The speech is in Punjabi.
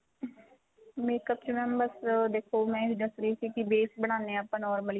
makeup ਚ mam ਬੱਸ ਦੇਖੋ ਮੈਂ ਇਹ ਦੱਸ ਰਹੀ ਸੀ ਕੀ base ਬਣਾਨੇ ਆ ਆਪਾਂ normally